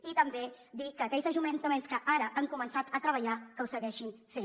i també dir que aquells ajuntaments que ara hi han començat a treballar que ho segueixin fent